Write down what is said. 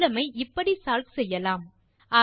problem ஐ இப்படி solve செய்யலாம்